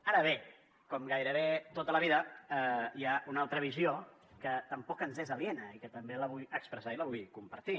ara bé com gairebé tot a la vida hi ha una altra visió que tampoc ens és aliena i que també la vull expressar i la vull compartir